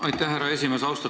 Aitäh, härra esimees!